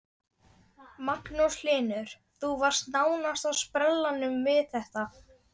Magnús Hlynur: Þú varst nánast á sprellanum við þetta?